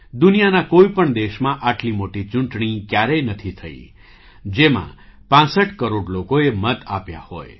દુનિયાના કોઈ પણ દેશમાં આટલી મોટી ચૂંટણી ક્યારેય નથી થઈ જેમાં ૬૫ કરોડ લોકોએ મત આપ્યા હોય